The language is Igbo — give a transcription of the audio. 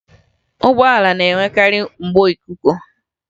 Ụgbọala na-enwekarị mgbo ikuku